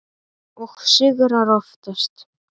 Og sigrar oftast.